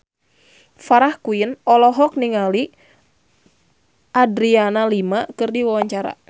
Farah Quinn olohok ningali Adriana Lima keur diwawancara